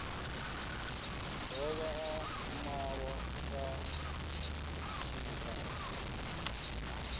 dovha a malwa sa tshilikadzi